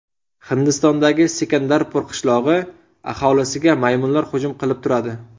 Hindistondagi Sikandarpur qishlog‘i aholisiga maymunlar hujum qilib turadi.